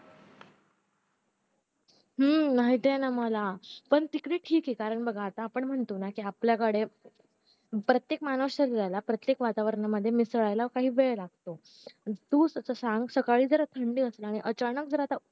हम्म माहितीए ना मला पण तिकडे ठीक ऐ कारण बघ आपण म्हणतो ना कि प्रत्येक माणूस शरीराला प्रत्येक वातावरणामध्ये मिसळायला काही वेळ लागतो तूच सांग सकाळी जर थंडी असल्याने अचानक